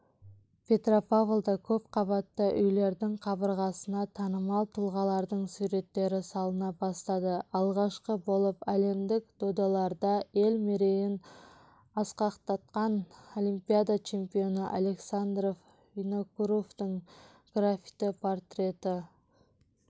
петропавлда көпқабатты үйлердің қабырғасына танымал тұлғалардың суреттері салына бастады алғашқы болып әлемдік додаларда ел мерейін асқақтатқан олимпиада чемпионы александр винокуровтың графити-портреті